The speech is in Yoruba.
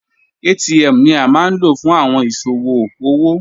ATM ni a ma lo fun awọn iṣowo owo